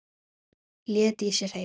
Lét í sér heyra.